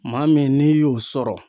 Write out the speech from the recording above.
Maa min n'i y'o sɔrɔ